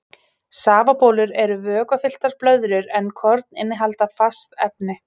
Safabólur eru vökvafylltar blöðrur en korn innihalda fast efni.